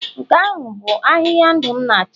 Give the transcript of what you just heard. nke ahụ bụ ahịhịa ndụ m na-achọ?